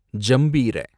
ஜம்பீர